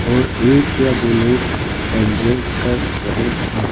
और एक या दो लोग एंजॉय कर रहे हैं।